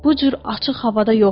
Bu cür açıq havada yox.